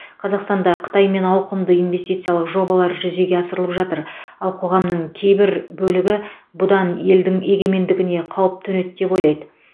қазақстанда қытаймен ауқымды инвестициялық жобалар жүзеге асырылып жатыр ал қоғамның кейбір бөлігі бұдан елдің егемендігіне қауіп төнеді деп ойлайды